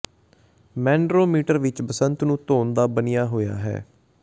ਮੈਨਰੋਮੀਟਰ ਵਿਚ ਬਸੰਤ ਨੂੰ ਤੌਣ ਦਾ ਬਣਿਆ ਹੋਇਆ ਹੈ